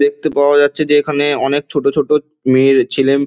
দেখতে পাওয়া যাচ্ছে যে এখানে অনেক ছোট ছোট মেয়ে ছেলে।